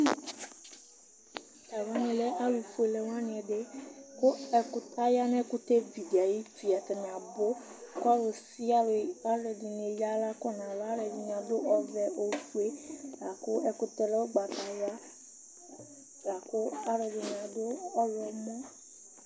Tʋ alʋ wanɩ lɛ alʋfuele wanɩ ɛdɩ kʋ ɛkʋ aya nʋ ɛkʋtɛvi dɩ ayuti Atanɩ abʋ kʋ ɔlʋsɩalʋ, ɔlʋɛdɩnɩ eyǝ aɣla kɔ nʋ ava Alʋɛdɩnɩ adʋ ɔvɛ, ofue, la kʋ ɛkʋtɛ yɛ lɛ ʋgbatawla la kʋ ɔlɔdɩnɩ adʋ ɔɣlɔmɔ